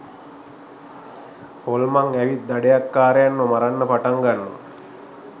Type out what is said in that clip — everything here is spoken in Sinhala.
හොල්මන් ඇවිත් දඩයක්කාරයන්ව මරන්න පටන් ගන්නවා